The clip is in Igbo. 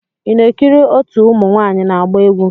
Ị na-ekiri otu ụmụ nwanyị na-agba egwu.